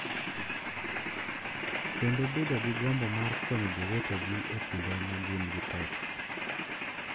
Kendo bedo gi gombo mar konyo jowetegi e kinde ma gin gi pek.